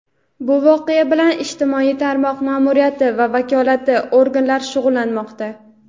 bu voqea bilan ijtimoiy tarmoq ma’muriyati va vakolatli organlar shug‘ullanmoqda.